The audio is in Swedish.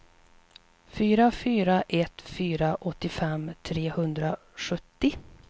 fyra fyra ett fyra åttiofem trehundrasjuttio